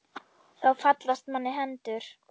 Þá fallast manni hendur.